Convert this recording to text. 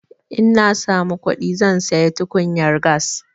In na samu kuɗi zan sayi tukunyar gas.